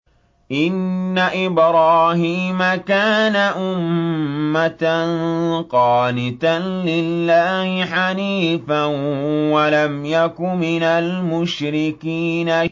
إِنَّ إِبْرَاهِيمَ كَانَ أُمَّةً قَانِتًا لِّلَّهِ حَنِيفًا وَلَمْ يَكُ مِنَ الْمُشْرِكِينَ